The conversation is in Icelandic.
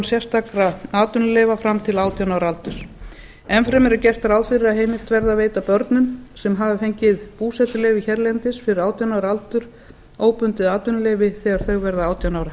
sérstakra atvinnuleyfa fram til átján ára aldurs enn fremur er gert ráð fyrir að heimilt verði að veita börnum sem hafa fengið búsetuleyfi hérlendis fyrir átján ára aldur óbundið atvinnuleyfi þegar þau verða átján ára